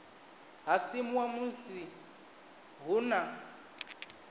ha simuwa musi hu na